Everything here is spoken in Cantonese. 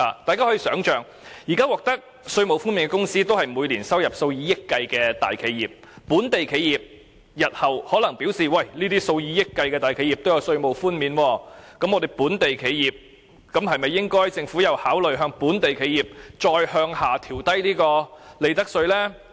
大家試想想，現時可享稅務寬減的公司都是每年收入數以億元計的大企業，所以本地企業日後亦會想，既然那些收入數以億元計的大企業都可以享有稅務寬免優惠，那麼政府是否應該考慮進一步調低本地企業的利得稅？